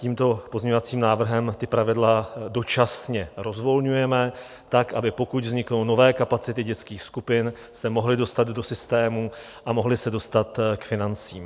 Tímto pozměňovacím návrhem ta pravidla dočasně rozvolňujeme tak, aby pokud vzniknou nové kapacity dětských skupin, se mohly dostat do systému a mohly se dostat k financím.